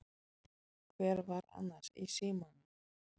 Hver var annars í símanum?